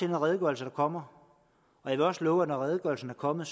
her redegørelse der kommer jeg vil også love at når redegørelsen er kommet